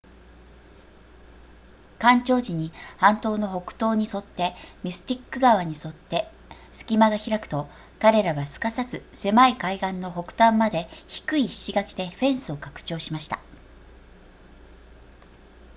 干潮時に半島の北東に沿ってミスティック川に沿って隙間が開くと彼らはすかさず狭い海岸の北端まで低い石垣でフェンスを拡張しました